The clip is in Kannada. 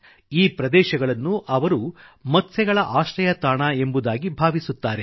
ಈ ಪ್ರದೇಶಗಳನ್ನು ಅವರು ಮತ್ಸ್ಯಗಳ ಆಶ್ರಯತಾಣ ಎಂಬುದಾಗಿ ಭಾವಿಸುತ್ತಾರೆ